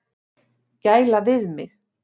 Gæla við mig.